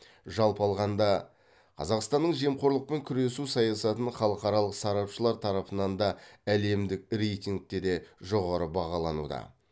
жалпы алғанда қазақстанның жемқорлықпен күресу саясатын халықаралық сарапшылар тарапынан да әлемдік рейтингте де жоғары бағалануда